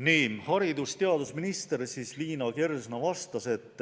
Nii, haridus- ja teadusminister Liina Kersna vastas, et